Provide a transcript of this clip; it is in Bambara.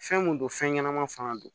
Fɛn mun don fɛn ɲɛnama fanga don